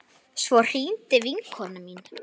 Svo hringdi vinkona mín.